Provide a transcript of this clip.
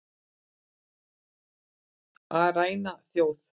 Að ræna þjóð